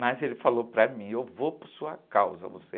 Mas ele falou para mim, eu vou por sua causa, você...